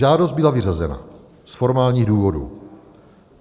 Žádost byla vyřazena z formálních důvodů.